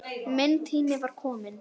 Minn tími var kominn.